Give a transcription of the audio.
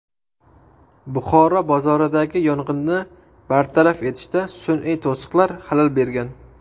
Buxoro bozoridagi yong‘inni bartaraf etishda sun’iy to‘siqlar xalal bergan .